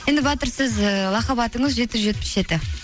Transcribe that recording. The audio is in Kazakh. енді батыр сіз лақап атыңыз жеті жүз жетпіс жеті